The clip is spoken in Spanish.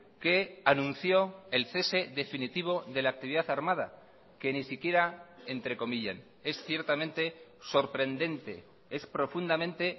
que anunció el cese definitivo de la actividad armada que ni siquiera entrecomillen es ciertamente sorprendente es profundamente